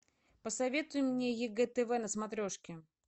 посоветуй мне егэ тв на смотрешке